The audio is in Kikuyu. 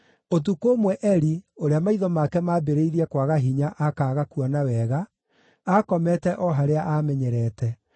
Ũtukũ ũmwe Eli, ũrĩa maitho make maambĩrĩirie kwaga hinya akaaga kuona wega, aakomete o harĩa aamenyerete.